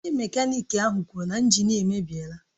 Onye mekaniki ahụ kwuru na injin a emebiela